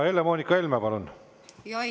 Helle-Moonika Helme, palun!